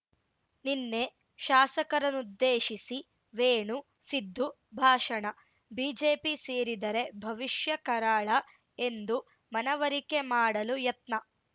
ನಿನ್ನೆ ಶಾಸಕರನ್ನುದ್ದೇಶಿಸಿ ವೇಣು ಸಿದ್ದು ಭಾಷಣ ಬಿಜೆಪಿ ಸೇರಿದರೆ ಭವಿಷ್ಯ ಕರಾಳ ಎಂದು ಮನವರಿಕೆ ಮಾಡಲು ಯತ್ನ